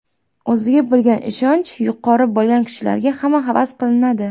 O‘ziga bo‘lgan ishonchi yuqori bo‘lgan kishilarga hamma havas qiladi.